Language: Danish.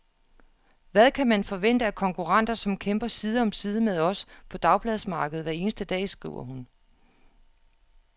Hvad kan man forvente af konkurrenter, som kæmper side om side med os på dagbladsmarkedet hver eneste dag, skriver hun.